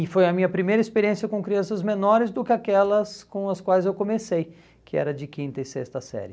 E foi a minha primeira experiência com crianças menores do que aquelas com as quais eu comecei, que era de quinta e sexta série.